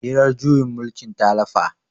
hirar juyin mulkin ta lafa